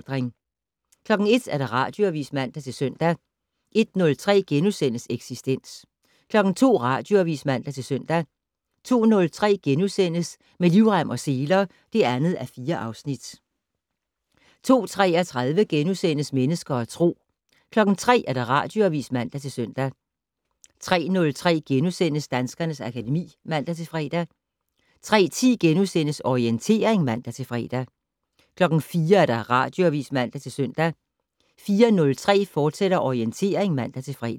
01:00: Radioavis (man-søn) 01:03: Eksistens * 02:00: Radioavis (man-søn) 02:03: Med livrem og seler (2:4)* 02:33: Mennesker og Tro * 03:00: Radioavis (man-søn) 03:03: Danskernes akademi *(man-fre) 03:10: Orientering *(man-fre) 04:00: Radioavis (man-søn) 04:03: Orientering, fortsat (man-fre)